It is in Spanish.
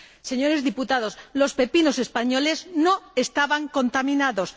Señores diputados, los pepinos españoles no estaban contaminados.